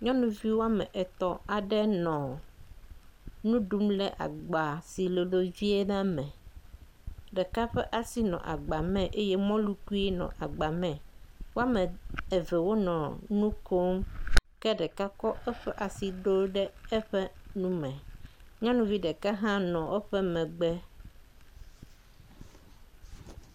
Nyɔnuvi woame etɔ̃ aɖe nɔ nu ɖum le agba si lolo vie la me. Ame ɖeka ƒe asi nɔ agba me eye mɔlukui nɔ agba me, woame eve wonɔ nu kom, ke ɖeka kɔ eƒe asi ɖo ɖe eƒe nu me. Nyɔnuvi ɖeka hã nɔ eƒe megbe.